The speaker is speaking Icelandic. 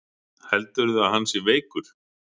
Heldurðu að hann sé veikur?